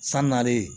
San nalen